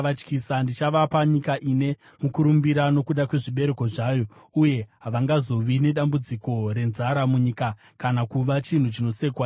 Ndichavapa nyika ine mukurumbira nokuda kwezvibereko zvayo, uye havangazovi nedambudziko renzara munyika kana kuva chinhu chinosekwa nendudzi.